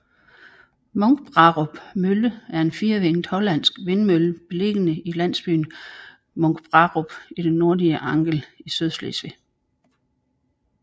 Munkbrarup Mølle er en firevingede hollandsk vindmølle beliggende i landsbyen Munkbrarup i det nordlige Angel i Sydslesvig